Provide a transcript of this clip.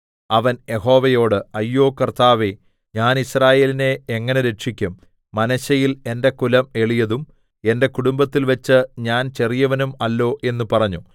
അവൻ യഹോവയോട് അയ്യോ കർത്താവേ ഞാൻ യിസ്രായേലിനെ എങ്ങനെ രക്ഷിക്കും മനശ്ശെയിൽ എന്റെ കുലം എളിയതും എന്റെ കുടുംബത്തിൽവെച്ച് ഞാൻ ചെറിയവനും അല്ലോ എന്ന് പറഞ്ഞു